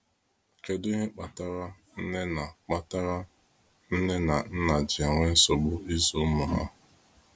kedụ ihe kpatara nne na kpatara nne na nna ji enwe nsogbu ịzụ ụmụ ha?